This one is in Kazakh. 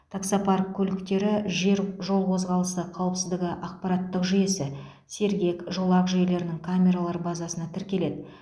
таксопарк көліктері жер жол қозғалысы қауіпсіздігі ақпараттық жүйесі сергек жолақ жүйелерінің камералар базасына тіркеледі